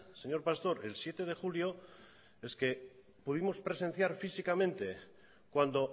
señor pastor el siete de julio es que pudimos presenciar físicamente cuando